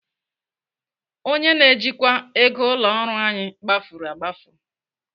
Onye na-ejikwa ego ụlọ ọrụ anyị gbafuru agbafu.